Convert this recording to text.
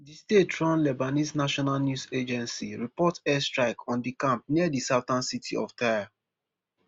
di staterun lebanese national news agency report air strike on di camp near di southern city of tyre